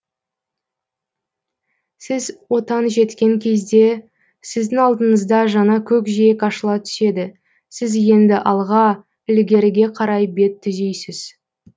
сіз отан жеткен кезде сіздің алдыңызда жаңа көкжиек ашыла түседі сіз енді алға ілгеріге қарай бет түзейсіз